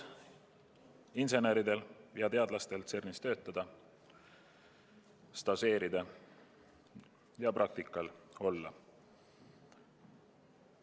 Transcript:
Inseneridel ja teadlastel tekib võimalus CERN-is töötada, stažeerida ja praktikal olla.